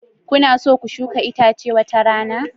Kuna so ku shuka itace wata rana?